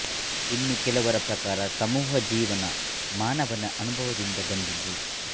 ಇನ್ನು ಕೆಲವರ ಪ್ರಕಾರ ಸಮೂಹ ಜೀವನ ಮಾನವನ ಅನುಭವದಿಂದ ಬಂದುದು